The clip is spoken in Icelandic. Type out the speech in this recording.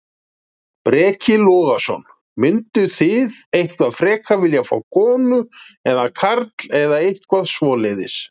Breki Logason: Mynduð þið eitthvað frekar vilja fá, fá konu eða karl eða eitthvað svoleiðis?